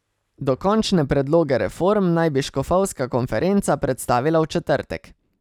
Dokončne predloge reform naj bi škofovska konferenca predstavila v četrtek.